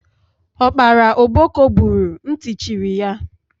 Ọkpara ọkpọko gburu, ntị cherị ya